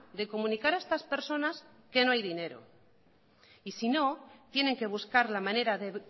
de comunicar a estas personas que no hay dinero y sino tienen que buscar la manera de